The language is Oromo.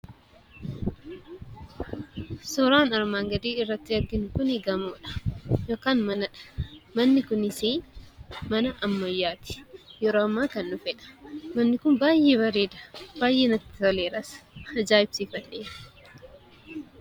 Suuraan armaan gadiitti arginu kun gamoodha yookaan manadha. Manni kunis mana ammayyaati. Yeroo ammaa kan dhufedha. Manni kun baay'ee bareeda, baay'ee natti toleeras, ajaa'ibsiifadheera.